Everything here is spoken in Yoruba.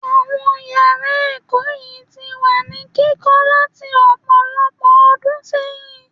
Àwọn yàrá ẹ̀kọ́ yìí ti wà ní kíkọ́ láti ọ̀pọ̀lọpọ̀ ọdún sẹ́yìn.